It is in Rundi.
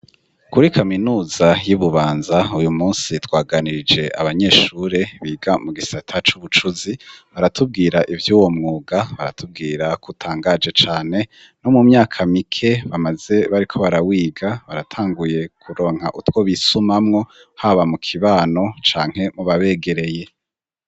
Kuri kaminuza y'ibubanza uyu munsi twaganirije abanyeshure biga mu gisata c'ubucuzi ,baratubwira ivy'uwo mwuga baratubwira k'utangaje cane no mu myaka mike bamaze bariko barawiga baratanguye kuronka utwo bisumamwo, haba mu kibano canke mu babegereye.